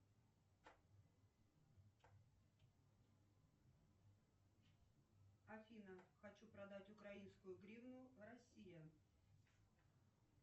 афина хочу продать украинскую гривну россия